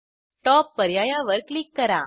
top पर्यायावर click करा